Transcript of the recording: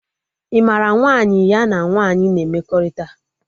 Ị mara nwaanyị ya na nwaanyị na emekọrịta?